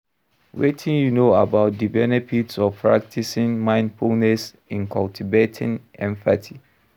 Wetin you know about di benefits of practicing mindfulness in cultivating empathy?